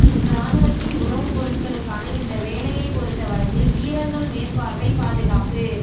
இராணுவத்தின் உணவுப் பொருட்களுக்கான இந்த வேலையைப் பொறுத்தவரையில் வீரர்கள் மேற்பார்வை பாதுகாப்பு